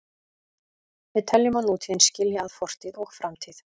Við teljum að nútíðin skilji að fortíð og framtíð.